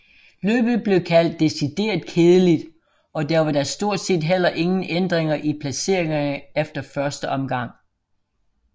Løbet blev kaldt decideret kedeligt og der var da stort set heller ingen ændringer i placeringerne efter første omgang